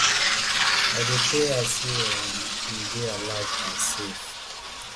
i dey pray hard say um im dey alive and safe